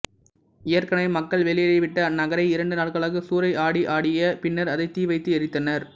ஏற்கெனவே மக்கள் வெளியேறிவிட்ட அந்நகரை இரண்டு நாட்களாகச் சூறையாடியாடிய பின்னர் அதைத் தீவைத்து எரித்தனர்